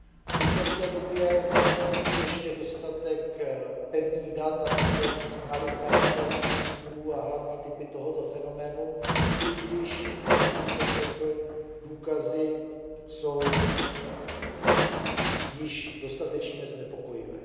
V současné době není ještě dostatek pevných dat, abychom znali charakter, strukturu a hlavní typy tohoto fenoménu, i když, jak už jsem řekl, důkazy jsou již dostatečně znepokojivé.